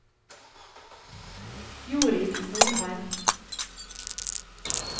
Jorid Norheim